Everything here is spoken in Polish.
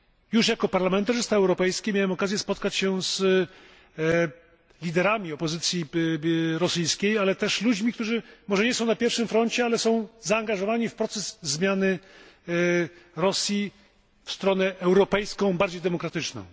Już jako parlamentarzysta europejski miałem okazję spotkać się z liderami opozycji rosyjskiej, ale też ludźmi, którzy może nie są na pierwszym froncie, ale są zaangażowani w proces zmiany Rosji w stronę europejską, bardziej demokratyczną.